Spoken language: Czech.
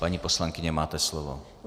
Paní poslankyně, máte slovo.